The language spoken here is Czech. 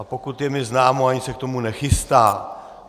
A pokud je mi známo, ani se k tomu nechystá.